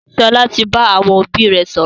Sọlá tí bá àwọn òbí rẹ sọ̀rọ̀